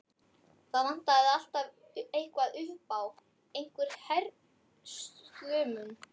Það vantaði alltaf eitthvað upp á, einhvern herslumun.